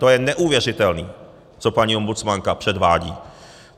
To je neuvěřitelný, co paní ombudsmanka předvádí!